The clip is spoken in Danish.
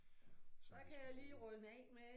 Som vi skulle lave